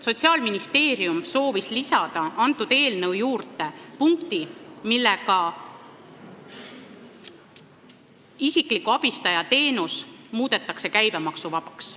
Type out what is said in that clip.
Sotsiaalministeerium soovis eelnõusse lisada punkti, millega isikliku abistaja teenus muudetakse käibemaksuvabaks.